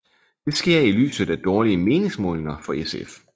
Det sker i lyset af dårlige meningsmålinger for SF